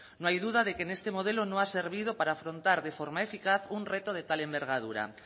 no hay duda de que este modelo no ha servido para afrontar de forma eficaz un reto de tal envergadura